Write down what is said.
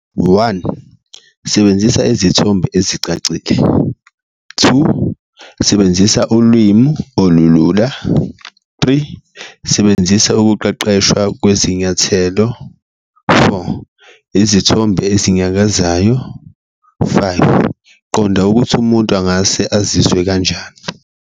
One, sebenzisa izithombe ezicacile, two, sebenzisa ulwimi olulula, three, sebenzisa ukuqeqeshwa kwezinyathelo, four, izithombe ezinyakazayo, five, qonda ukuthi umuntu angase azizwe kanjani.